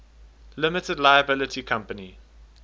limited liability company